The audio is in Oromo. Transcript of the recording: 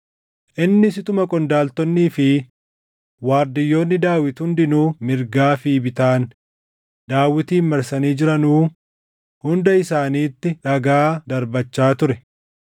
Innis utuma qondaaltonnii fi waardiyyoonni Daawit hundinuu mirgaa fi bitaan Daawitin marsanii jiranuu hunda isaaniitti dhagaa darbachaa ture.